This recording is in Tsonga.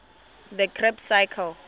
the krebb cycle